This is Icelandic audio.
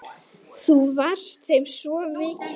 Þú varst þeim svo mikið.